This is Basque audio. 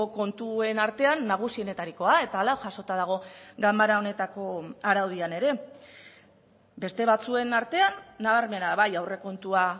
kontuen artean nagusienetarikoa eta hala jasota dago ganbara honetako araudian ere beste batzuen artean nabarmena bai aurrekontua